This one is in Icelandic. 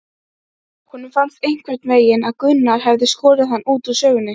Honum fannst einhvernveginn að Gunnar hefði skorið hann úr snörunni.